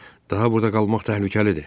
Daha burda qalmaq təhlükəlidir.